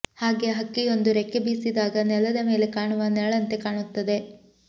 ಹಾಗೆ ಹಕ್ಕಿಯೊಂದು ರೆಕ್ಕೆ ಬೀಸಿದಾಗ ನೆಲದ ಮೇಲೆ ಕಾಣುವ ನೆರಳಂತೆ ಕಾಣುತ್ತದೆ